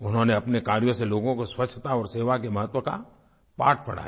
उन्होंने अपने कार्यों से लोगों को स्वच्छता और सेवा के महत्व का पाठ पढ़ाया